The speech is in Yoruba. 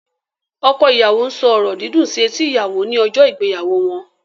Ọkọ ìyàwó ń sọ ọ̀rọ̀ dídùn sí etí ìyàwò ní ọjọ́ ìgbéyàwó wọn.